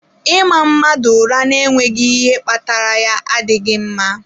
Ịma mmadụ ụra n'enweghị ihe kpatara ya adịghị mma.